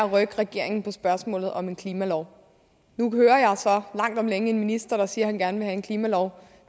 at rykke regeringen i spørgsmålet om en klimalov nu hører jeg så langt om længe en minister der siger at han gerne vil have en klimalov